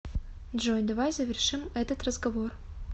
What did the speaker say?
джой давай завершим этот разговор